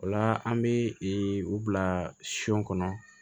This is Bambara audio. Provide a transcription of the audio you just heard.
O la an bɛ u bila son kɔnɔ